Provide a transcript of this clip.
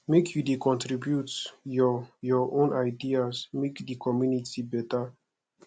make you dey contribute your your own ideas make di community beta